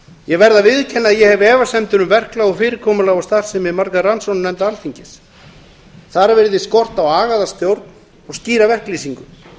ég verð að viðurkenna að ég hef efasemdir um verklag fyrirkomulag og starfsemi margra rannsóknarnefnda alþingis þar virðist skorta á agaða stjórn og skýra verklýsingu